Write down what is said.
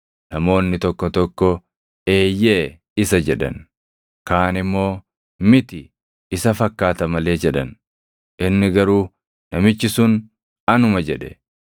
Namoonni tokko tokko, “Eeyyee, isa” jedhan. Kaan immoo, “Miti, isa fakkaata malee” jedhan. Inni garuu, “Namichi sun anuma” jedhe.